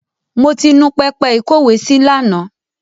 Mo ti nu pẹpẹ ìkówèésí lánàá.